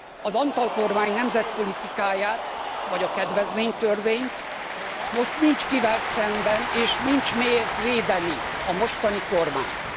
az Antall kormány nemzetpolitikáját, vagy a kedvezménytörvényt, most nincs kivel szemben és nincs miért védeni a mostani kormányt.